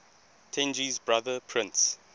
tenji's brother prince